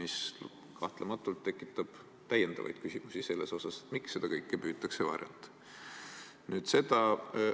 See tekitab kahtlemata täiendavaid küsimusi, miks seda kõike varjata püütakse.